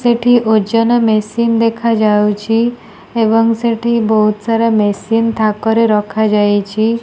ସେଠି ଓଜନ ମେସିନ ଦେଖା ଯାଉଛି ଏବଂ ସେଠି ବହୁତ ସାରା ମେସିନ ଥାକ ରେ ରଖା ଯାଇଚି।